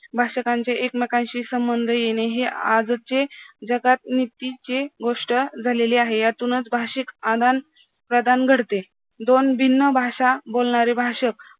भाषकांचे एकमेकांशी संबंध येणे हे आजचे जगात नीतीचे गोष्ट झालेले आहे यातूनच भाषिक आदान-प्रदान घडते दोन भिन्न भाषा बोलणारे भाषक